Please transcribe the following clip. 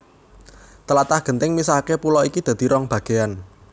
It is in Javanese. Tlatah genting misahaké pulo iki dadi rong bagéyan